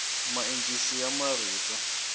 maencisi ya marito